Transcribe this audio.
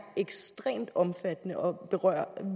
ekstremt omfattende og berører